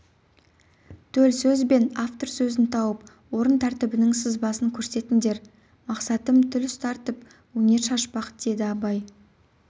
төл сөз бен автор сөзін тауып орын тәртібінің сызбасын көрсетіндер мақсатым тіл ұстартып өнер шашпақ деді абай